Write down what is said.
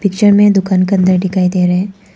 Picture में दुकान के अंदर दिखाई दे रहे हैं।